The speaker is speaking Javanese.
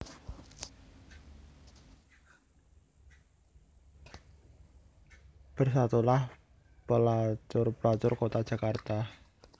Bersatulah Pelacur Pelacur Kota Jakarta